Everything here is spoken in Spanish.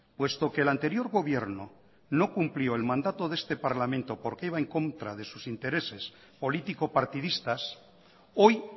puesto que el anterior gobierno no cumplió el mandato de este parlamento porque iba en contra de sus intereses político partidistas hoy